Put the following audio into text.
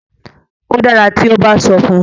o dára tí o ba sọ fun.